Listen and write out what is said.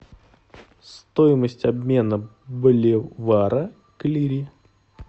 стоимость обмена боливара к лире